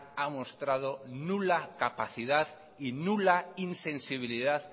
ha mostrado nula capacidad y nula insensibilidad